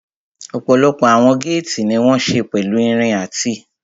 Ọ̀pọ̀lọpọ̀ àwọn géètì ní wọ́n ṣe pẹ̀lú irin àti